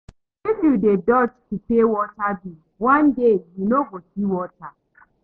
If you dey dodge to pay water bill, one day you no go see water.